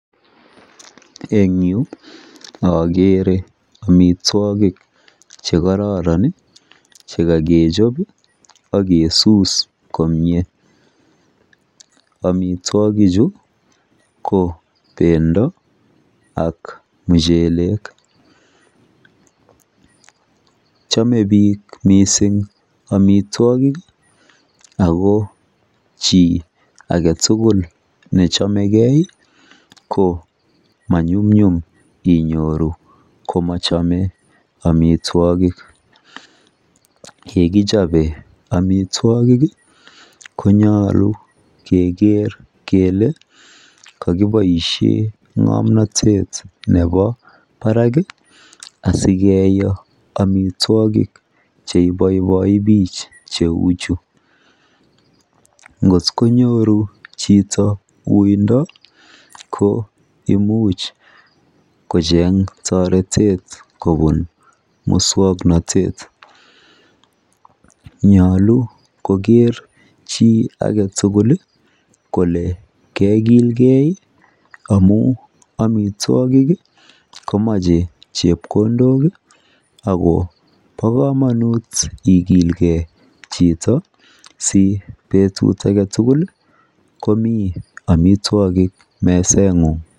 Eng yuu akeree amwitwakik chekororon Ii chekakechop ak kesus komyee amwitwakik chuu Koo pendooh ak muchel k chomee piik amwitwakik ako chii aketukul nechomekei Koo manyumnyum inyoruu komachomeii amwitwakik yekichopee amwitwakik konyoluu keroo kelee kakipoishee ngomnotet neboo Barak ngonyoruu chitoo uuindo koimuj kocheng toretet kopun muswoknotwt